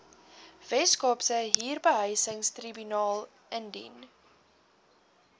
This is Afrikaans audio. weskaapse huurbehuisingstribunaal indien